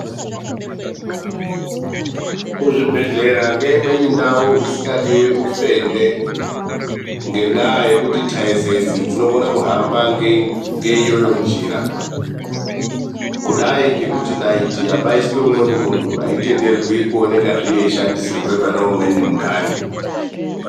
Kuzvibhedhlera ngeimweni ndau isingadiwi ufende ngendaa yekuti thaizezi dzinokona kuhamba ngeiyoyo njira kudai ngekuti naiti yashandisirwa umweni munthu ayii tenderwi kuonekwa yeishandisirwa umweni munthu .